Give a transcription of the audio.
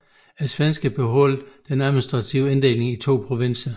Svenskerne beholdt den administrative inddeling i to provinser